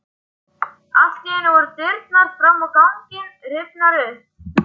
Allt í einu voru dyrnar fram á ganginn rifnar upp.